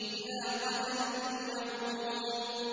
إِلَىٰ قَدَرٍ مَّعْلُومٍ